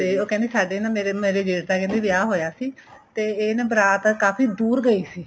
ਉਹ ਕਹਿੰਦੀ ਸਾਡੇ ਨਾ ਮੇਰੇ ਮੇਰੇ ਜੇਠ ਦਾ ਵਿਆਹ ਹੋਇਆ ਸੀ ਇਹ ਨਾ ਬਰਾਤ ਨਾ ਕਾਫ਼ੀ ਦੂਰ ਗਈ ਸੀ